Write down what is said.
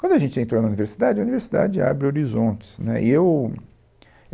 Quando a gente entrou na universidade, a universidade abre horizontes, né. E eu